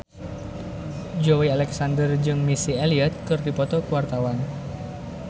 Joey Alexander jeung Missy Elliott keur dipoto ku wartawan